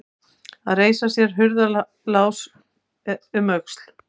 Að reisa sér hurðarás um öxl